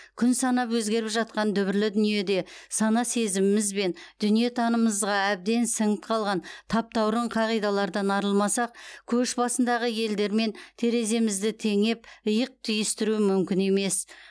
күн санап өзгеріп жатқан дүбірлі дүниеде сана сезіміміз бен дүниетанымымызға әбден сіңіп қалған таптаурын қағидалардан арылмасақ көш басындағы елдермен тереземізді теңеп иық түйістіру мүмкін емес